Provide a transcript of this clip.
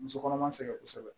Muso kɔnɔma sɛgɛn kosɛbɛ